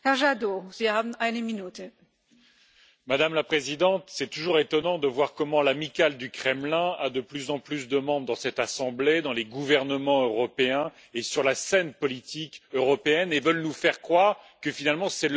Madame la Présidente, c'est toujours étonnant de voir que l'Amicale du Kremlin a de plus en plus de monde dans cette Assemblée, dans les gouvernements européens et sur la scène politique européenne et qu'elle nous faire croire que, finalement, c'est l'Europe qui agresse la Russie dans cette affaire.